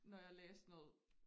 Når jeg læste noget